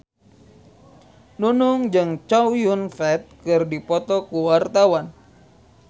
Nunung jeung Chow Yun Fat keur dipoto ku wartawan